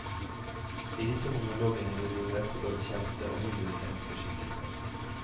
I disse monologene vil vi møte både kjente og mindre kjente skikkelser.